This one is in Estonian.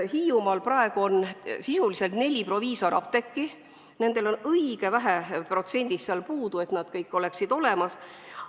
Hiiumaal on praegu sisuliselt neli proviisorapteeki, neil on seal õige vähe vajalikust protsendist puudu, et nad kõik saaksid edaspidigi olemas olla.